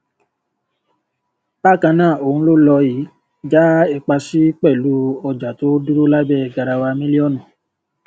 bákan náà ohun ló lọ yìí já ipa sí pẹlú ọjà tó dúró lábẹ garawa mílíọnù